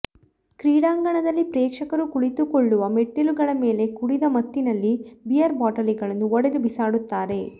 ಕ್ರೀಡಾಂಗಣದಲ್ಲಿ ಪ್ರೇಕ್ಷಕರು ಕುಳಿತುಕೊಳ್ಳುವ ಮೆಟ್ಟಿಲುಗಳ ಮೇಲೆ ಕುಡಿದ ಮತ್ತಿನಲ್ಲಿ ಬಿಯರ್ ಬಾಟಲಿಗಳನ್ನು ಒಡೆದು ಬಿಸಾಡುತ್ತಾರೆ